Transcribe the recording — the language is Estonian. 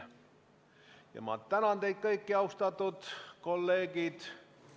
Ma tänan teid kõiki, austatud kolleegid!